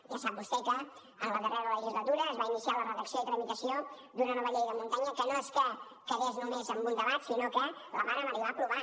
ja sap vostè que en la darrera legislatura es va iniciar la redacció i tramitació d’una nova llei de muntanya que no és que quedés només en un debat sinó que la vàrem arribar a aprovar